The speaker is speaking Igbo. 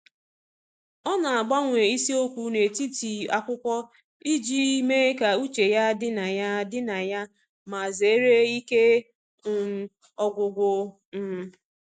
Ọ na-agbanwe isiokwu n'etiti akwụkwọ iji mee ka uche ya dị na ya dị na ya ma zere ike um ọgwụgwụ. um